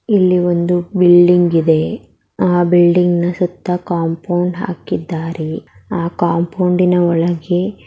ಇಲ್ಲಿ ಒಂದು ಬಿಲ್ಡಿಂಗ್ ಇದೆ ಆ ಬಿಲ್ಡಿಂಗ್ನ ಸುತ್ತ ಕಾಂಪೌಂಡ್ ಹಾಕಿದ್ದಾರೆ. ಆ ಕಾಂಪೌಂಡಿನ ಒಳಗೆ--